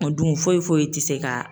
O dun foyi foyi tɛ se ka.